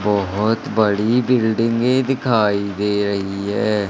बोहोत बड़ी बिल्डिंगे दिखाई दे रही है।